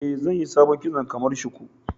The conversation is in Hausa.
Eh, zanyi sabon kitson kamar shuku.